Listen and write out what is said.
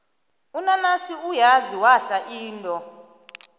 unanasi uyazi wahla indo